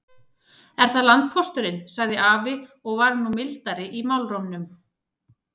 Er það landpósturinn, sagði afi og var nú mildari í málrómnum.